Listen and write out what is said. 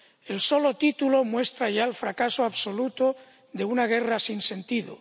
El solo título muestra ya el fracaso absoluto de una guerra sin sentido.